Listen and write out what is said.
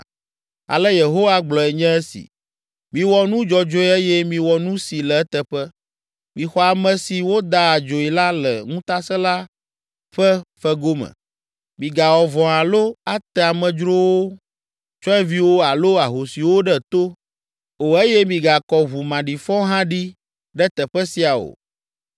Ale Yehowa gblɔe nye si: Miwɔ nu dzɔdzɔe eye miwɔ nu si le eteƒe. Mixɔ ame si woda adzoe la le ŋutasẽla ƒe fego me. Migawɔ vɔ̃ alo ate amedzrowo, tsyɔ̃eviwo alo ahosiwo ɖe to o eye migakɔ ʋu maɖifɔ hã ɖi ɖe teƒe sia o;